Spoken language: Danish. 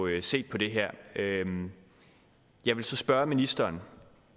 set på det her jeg vil så spørge ministeren